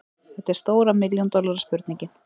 Þetta er stóra milljón dollara spurningin.